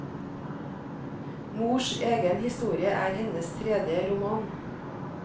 Mors egen historie er hennes tredje roman.